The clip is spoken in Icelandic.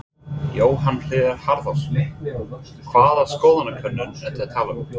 Jóhann Hlíðar Harðarson: Hvaða skoðanakönnun ertu að tala um?